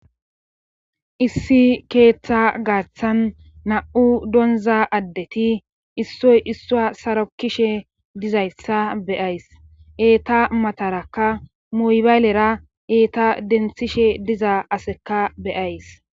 issi keeththa gaaththan na7u donza addeti issoy issuwa sarokishe dizayssa beyays eeta matarakka muybaylera eeta denthishe diza aseka beyays